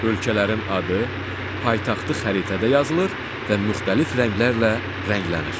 Ölkələrin adı, paytaxtı xəritədə yazılır və müxtəlif rənglərlə rənglənir.